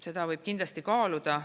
Seda võib kindlasti kaaluda.